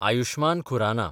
Ayushman Khurana